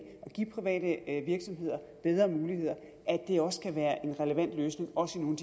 og give private virksomheder bedre muligheder også kan være en relevant løsning også i nogle